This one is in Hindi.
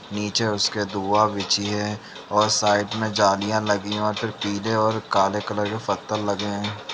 नीचे उसके धुवाँ बिच्छी हैं और साइड में जालियाँ लगी हैं और फिर पीले और काले कलर की पत्थल लगे हैं ।